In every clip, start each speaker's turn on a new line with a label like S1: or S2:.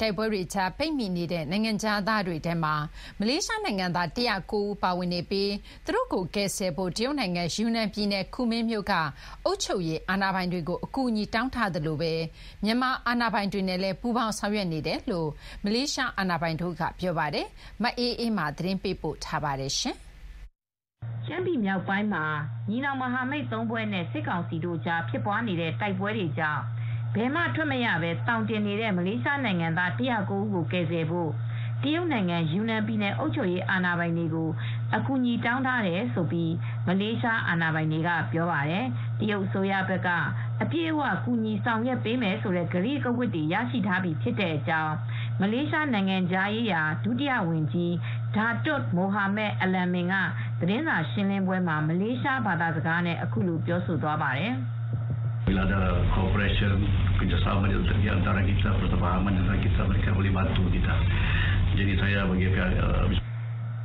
S1: တိုက်ပွဲတွေကြား ပိတ်မိနေကြတဲ့ နိုင်ငံခြားသားတွေထဲမှာ မလေးရှားနိုင်ငံသားလည်း ၁၀၉ ယောက်ပါဝင်နေပါတယ်။ သူတို့ကိုကယ်ဆယ်ဖို့ တရုတ်နိုင်ငံ ယူနန်ပြည်နယ် ကူမင်းမြို့က အုပ်ချုပ်ရေးအာဏာပိုင်တွေကို အကူအညီတောင်းထားသလို မြန်မာအာဏာပိုင်တွေနဲ့လည်း ပူးပေါင်းဆောင်ရွက်နေတယ်လို့ မလေးရှားအာဏာပိုင်တွေက ပြောပါတယ်။ ဒီသတင်းကို ဗွီအိုအေသတင်းထောက်မအေးအေးမာက သတင်းပေးပို့ထားပါတယ်။ ရှ
S2: မ်းပြည်နယ်မြောက်ပိုင်းမှာ ညီနောင်မဟာမိတ် ၃ ဖွဲ့နဲ့ စစ်ကောင်စီတို့ကြား ဖြစ်နေတဲ့တိုက်ပွဲတွေကြောင့် ဘယ်မှထွက်မရဘဲ သောင်တင်နေတဲ့ မလေးရှားနိုင်ငံသား ၁၀၉ ဦးကို ကယ်ဆယ်ဖို့ တရုတ်နိုင်ငံ ယူနန်ပြည်နယ် အုပ်ချုပ်ရေးအာဏာပိုင်တွေကို အကူညီတောင်းထားတယ်လို့ မလေးရှားအာဏာပိုင်တွေက ပြောပါတယ်။ တရုတ်အစိုးရဘက်က အပြည့်အ၀ ကူညီဆောင်ရွက်ပေးမယ်ဆိုတဲ့ကတိရထားပြီးဖြစ်ကြောင်း မလေးရှား နိုင်ငံခြားရေးရာ ဒုဝန်ကြီး Datuk Mohamad Alamin (ဒါတွတ် မိုဟာမက် အလန်မင်) က သတင်းစာရှင်းလင်းပွဲမှာ မလေးရှားဘာသာစကားနဲ့ အခုလိုပြောပြပါတယ်။ ‘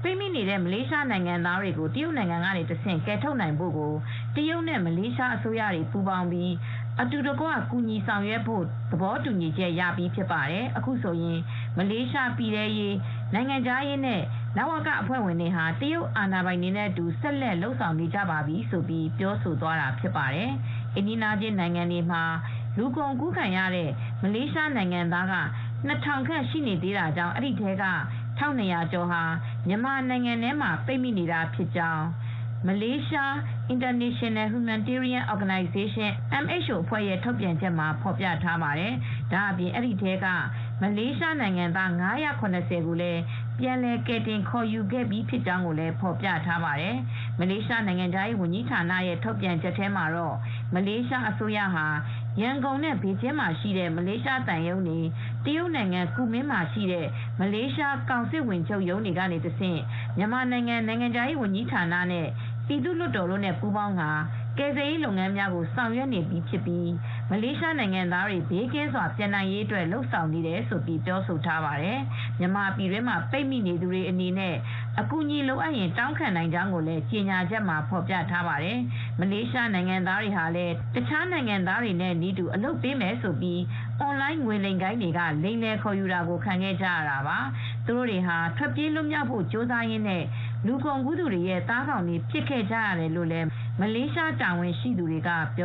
S2: ပိတ်မိနေတဲ့ မလေးရှားနိုင်ငံသားတွေကို တရုတ်နိုင်ငံကနေတဆင့် ကယ်ထုတ်နိုင်ဖို့ကို တရုတ်နဲ့မလေးရှားအစိုးရတွေ ပူးပေါင်းပြီး အတူတကွ ကူညီဆောင်ရွက်သွားဖို့ သဘောတူညီချက် ရပြီးဖြစ်ပါတယ်။ အခုဆိုရင် မလေးရှားပြည်ထဲရေး၊ နိုင်ငံခြားရေးနဲ့ လဝကအဖွဲ့ဝင်တွေဟာ တရုတ်အာဏာပိုင်တွေနဲ့အတူ ဆက်လက် လုပ်ဆောင်နေကြပါပြီ” လို့ ပြောသွားတာဖြစ်ပါတယ်။ အိမ်နီးချင်းနိုင်ငံတွေမှာ လူကုန်ကူးခံရတဲ့ မလေးနိုင်ငံသားက ၂,၀၀၀ ခန့် ရှိနေသေးကြောင်းနဲ့ အဲဒီအထဲက ၁,၂၀၀ ကျော်ဟာ မြန်မာနိုင်ငံထဲမှာ ပိတ်မိနေကြကြောင်း Malaysia International Humanitarian Organization (MHO) အဖွဲ့ရဲ့ ထုတ်ပြန်ချက်မှာ ဖေါ်ပြထားပါတယ်။ ဒါ့အပြင် အဲဒီအထဲက မလေးနိုင်ငံသား ၅၇၀ ကို ပြန်လည်ကယ်တင် ခေါ်ယူခဲ့ပြီးဖြစ်ကြောင်းလည်း ဖေါ်ပြထားပါတယ်။ မလေးရှားနိုင်ငံခြားရေးဝန်ကြီးဌာနရဲ့ထုတ်ပြန်ချက်ထဲမှာတော့ မလေးရှားအစိုးရဟာ ရန်ကုန်နဲ့ ဘေကျင်းမှာရှိတဲ့ မလေးရှားသံရုံးတွေ၊ တရုတ်နိုင်ငံ ကူမင်းမြို့မှာရှိတဲ့ မလေးရှား ကောင်စစ်ဝန်ချုပ်ရုံးတွေကနေတဆင့် မြန်မာနိုင်ငံခြားရေးဝန်ကြီးဌာနနဲ့ ပြည်သူ့လွှတ်တော်တို့နဲ့ ပူးပေါင်းပြီး မလေးရှားနိုင်ငံသားတွေ ဘေးကင်းကင်းနဲ့ပြန်လာနိုင်ကြဖို့ ကယ်ဆယ်ရေးလုပ်ငန်းတွေဆောင်ရွက်နေတာလို့ ဆိုပါတယ်။ မြန်မာပြည်တွင်းမှာ ပိတ်မိနေသူတွေအနေနဲ့ အကူအညီလိုရင် တောင်းခံနိုင်ကြောင်းလည်း ကြေညာချက်မှာ ဖေါ်ပြထားပါတယ်။ မလေးရှားနိုင်ငံသားတွေဟာလည်း တခြားနိုင်ငံသားတွေနည်းတူ အလုပ်ပေးမယ်’ဆိုပြီး အွန်လိုင်း ငွေလိမ်ဂိုဏ်းတွေက လိမ်လည်ခေါ်ယူတာကို ခံခဲ့ကြရတာပါ။ သူတို့ဟာ ထွက်ပြေးလွတ်မြောက်ဖို့ ကြိုးစားရင်း လူကုန်ကူးသူတွေရဲ့ သားကောင်တွေ ဖြစ်ခဲ့ကြရတယ်လို့လည်း မလေးတာဝန်ရှိသူတွေက ပြော